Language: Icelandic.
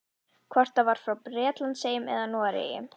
Hvort það var frá Bretlandseyjum eða Noregi.